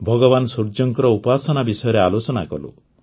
ଭଗବାନ ସୂର୍ଯ୍ୟଙ୍କ ଉପାସନା ବିଷୟରେ ଆଲୋଚନା କଲୁ